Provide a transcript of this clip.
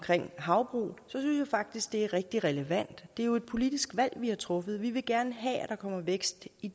havbrug synes jeg faktisk det er rigtig relevant det er jo et politisk valg vi har truffet vi vil gerne have at der kommer vækst i